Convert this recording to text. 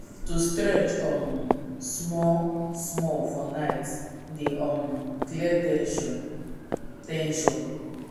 to stretch um small-small for night dey um clear ten sion. ten sion.